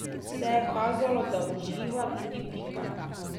Vse je kazalo, da uživa tudi Pika.